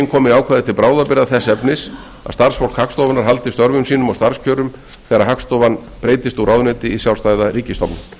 komi ákvæði til bráðabirgða þess efnis að starfsfólk hagstofunnar haldi störfum sínum og starfskjörum þegar hagstofan breytist úr ráðuneyti í sjálfstæða ríkisstofnun